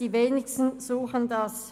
Die Wenigsten suchen das.